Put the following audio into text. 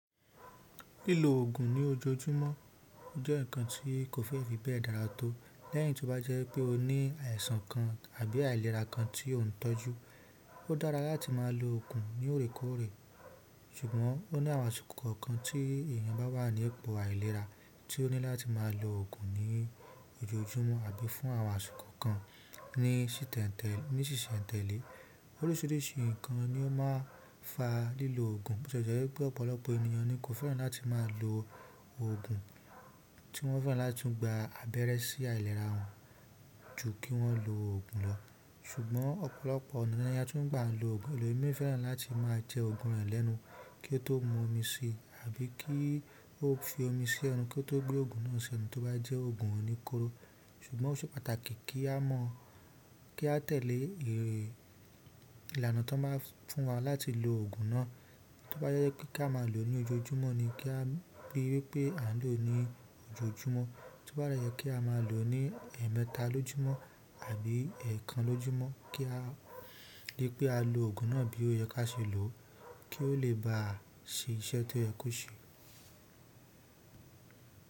Lílo òògùn ní ojoojúmọ́ jẹ́ ǹkan tí kò fẹ́ fi bẹ́ẹ̀ dára tó. Lẹ́yìn tí ó bá jẹ́ wipé o ní àìsàn kan àbí àìlera kan tí ó ń tọ́jú, ó dára láti máa lo òògùn ní òrékoorẹ́. Ṣùgbọ́n ó ní àwọn àsìkò kọ̀ọ̀kan tí èèyàn bá wà ní ipò àìlera tí ó ní láti máa lo òògùn ní ojoojúmọ́ àbí fún àwọn àsìkò kan ní sìsẹ́ǹtẹ̀lé. Oríṣiríṣi ǹkan ni ó máa ń fa lílo òògùn. Bo tile je wípé ọ̀pọ̀lọpọ̀ èèyàn ni kò fẹ́ràn láti máa lo òògùn tí wọ́n fẹ́ràn láti gba abẹ́rẹ́ sí àìlera wọn ju kí wọ́n lo òògùn lọ. Ṣùgbọ́n ọ̀pọ̀lọpọ̀ ọ̀nà ni a tun ń gba lo òògùn, èlomii fẹ́ràn láti máa jẹ òògùn rẹ̀ lẹ́nu kí ó tó mu omi síi àbí kí ó fi omi sí ẹnu kí ó tó gbé òògùn náà sí ẹnu tó bá jẹ́ òògùn oníkóró. Ṣùgbọ́n ó ṣe pàtàkì kí a tẹ̀lé ìlànà ti won ba fún wa láti lo òògùn náà. Tó bá jẹ́ pé kí a máa lo ní ojoojúmọ́ ni kí a rí i wípé à ń lò ó ní ojoojúmọ́. Tí ó bá de jẹ́ pé kí a máa lò ó ní ẹ̀ẹ̀mẹta lójúmọ́ àbí ẹ̀ẹ̀kan lójúmọ́, kí a rí pé á lo òògùn náà bí ó yẹ kí á ṣe lò ó kí ó lè bá ṣe iṣẹ́ tí ó yẹ kó ṣe.